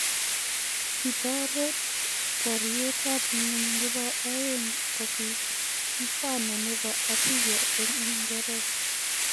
Kitaret baryet ab ngwony nebo aeng kobiit mfumo nebo abya eng Uingeresa